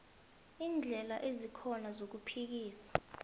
iindlela ezikhona zokuphikisa